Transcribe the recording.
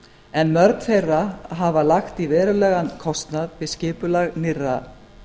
en mörg þeirra hafa lagt í verulegan kostnað við skipulag nýrra